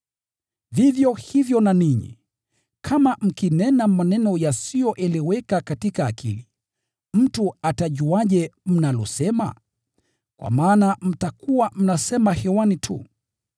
Vivyo hivyo na ninyi, kama mkinena maneno yasiyoeleweka katika akili, mtu atajuaje mnalosema? Kwa maana mtakuwa mnasema hewani tu.